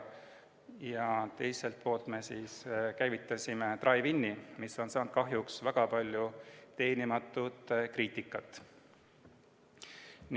Ja teiselt poolt me käivitasime drive-in'i, mis on saanud kahjuks väga palju teenimatut kriitikat.